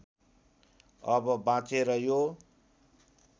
अब बाँचेर यो